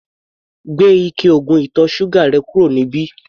Gbé ike oògùn ìtọ̀ ṣúgà rẹ̀ kúrò níbí!